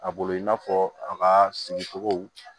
A bolo i n'a fɔ a ka sigi cogow